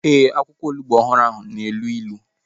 Ee, akwụkwọ onugbu ọhụrụ na-elu ilu